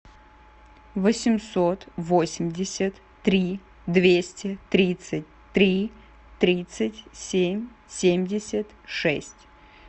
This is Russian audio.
восемьсот восемьдесят три двести тридцать три тридцать семь семьдесят шесть